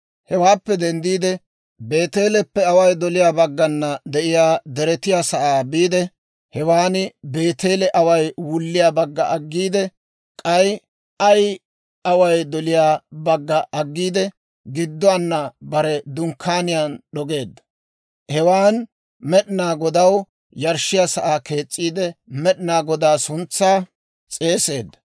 Hewaappe denddiide, Beeteeleppe away doliyaa baggana de'iyaa deretiyaa sa'aa biide, hewaan Beeteele away wulliyaa bagga aggiide, k'ay Ayi away doliyaa bagga aggiide, gidduwaan bare dunkkaaniyaa d'ogeedda; hewaan Med'inaa Godaw yarshshiyaa sa'aa kees's'iide, Med'inaa Godaa suntsaa s'eeseedda.